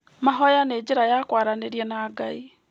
Mahoya nĩ njĩra ya kwaranĩria na Ngai.